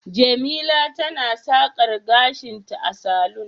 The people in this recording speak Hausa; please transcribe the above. jemila tana sakar gashinta a salon